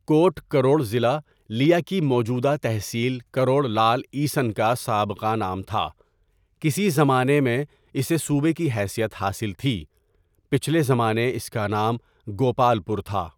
کوٹ کروڑ ضلع لیہ کی موجوده تحصیل کروڑ لعل عیسن کا سابقہ نام تها کسی زمانے اسے صوبہ کی حیثیت حاصل تهی پچهلے زمانے میں اس کا نام گوپال پور تها.